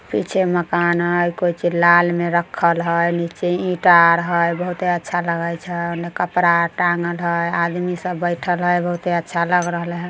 पीछे मकान हई कुछ लाल में रखल हई नीचे ईट आर हई बहोत अच्छा लगे छै उने कपड़ा आर टांगल हई आदमी सब बैठल हई बहोत अच्छा लग रहले हई।